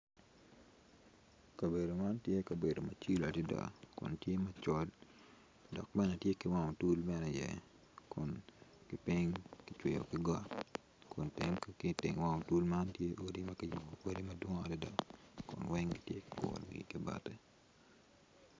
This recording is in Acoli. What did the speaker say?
Kabedo man tye kabedo macilo adada kun tye macol dok bene tye wang otul bene iye kun kicweyo ki got kun tenge ki iwang otul man tye odi ma kiyubo odi madwong adada kun weng kiguro wiye ki bati.